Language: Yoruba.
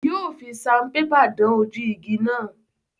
Yóò fi saunpépà dán ojú igi náà.